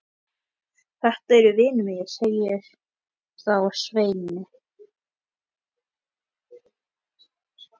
Þetta eru vinir mínir, sagði þá Sveinn.